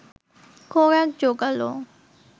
খোরাক জোগাল